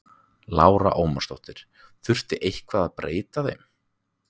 Lára Ómarsdóttir: Þurfti eitthvað að breyta þeim?